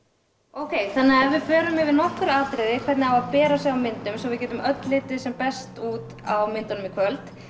ókei þannig að við förum yfir nokkur atriði hvernig á að bera sig á myndum svo við getum öll litið sem best út á myndunum í kvöld